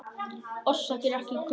Orsakir eru ekki kunnar.